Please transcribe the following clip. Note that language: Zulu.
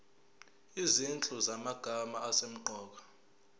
izinhlu zamagama asemqoka